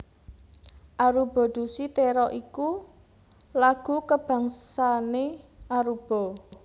Aruba Dushi Tera iku lagu kabangsané Aruba